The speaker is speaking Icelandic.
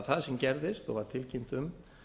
það sem gerðist og var tilkynnt um